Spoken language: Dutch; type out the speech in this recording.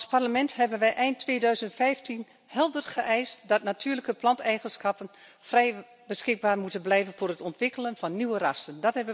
Als Parlement hebben wij eind 2015 helder geëist dat natuurlijke planteigenschappen vrij beschikbaar moeten blijven voor het ontwikkelen van nieuwe rassen.